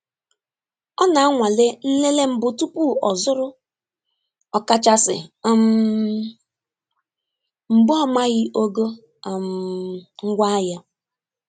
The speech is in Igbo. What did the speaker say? Ọ na-anwale nlele mbụ tupu ọzụrụ, ọkachasị um mgbe ọ maghị ogo um ngwaahịa.